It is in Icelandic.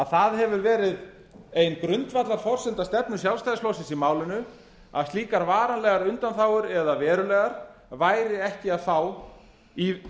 það hefur verið ein grundvallarstefna sjálfstæðisflokksins í málinu að slíkar varanlegar undanþágur eða verulegar væri ekki að fá í